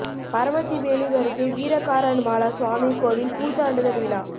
பரமத்திவேலூர் அருகே வீரகாரன் மாலா சுவாமி கோயில் பூ தாண்டுதல் விழா